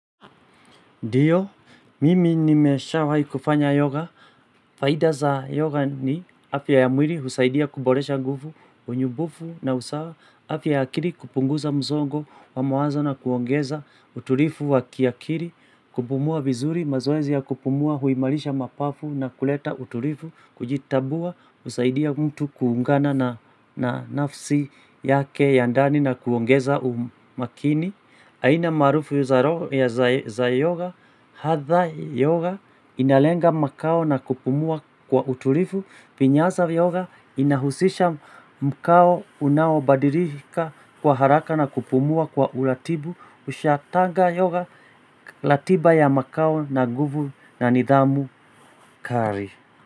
Ndiyo, mimi nimesha waikufanya yoga, faida za yoga ni afya ya mwili husaidia kuboresha nguvu, unyumbufu na usawa, afya ya akili kupunguza msongo wa mawazo na kuongeza utulivu wa kiakili, kupumua vizuri, mazoezi ya kupumua huimarisha mapafu na kuleta utulivu, kujitambua, husaidia mtu kuungana na nafsi yake ya ndani na kuongeza umakini. Aina maarufu za yoga, hadha yoga inalenga makao na kupumua kwa utulivu Pinyaza yoga inahusisha mkao unawabadilika kwa haraka na kupumua kwa uratibu Ushatanga yoga ratiba ya makao na nguvu na nidhamu kali.